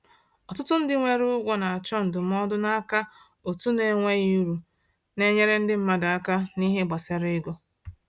Ọtụtụ ndị nwere ụgwọ na-achọ ndụmọdụ n’aka òtù na-enweghị uru na-enyere ndị mmadụ aka n’ihe gbasara ego.